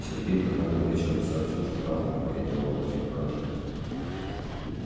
сергей позвонил вечером и сообщил что завтра мы идём в очень хороший ресторан